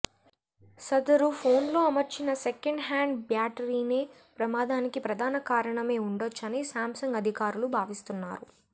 సదరు ఫోన్లో అమర్చిన సెకండ్ హ్యాండ్ బ్యాటరీనే ప్రమాదానికి ప్రధాన కారణమై ఉండొచ్చని సామ్సంగ్ అధికారులు భావిస్తున్నారు